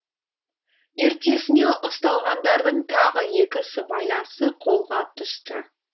ертесіне ұсталғандардың тағы екі сыбайласы қолға түсті